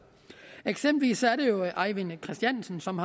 eksempelvis er det jo ejvind christiansen som